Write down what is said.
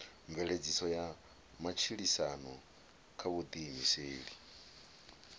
mveledziso ya matshilisano kha vhuḓiimiseli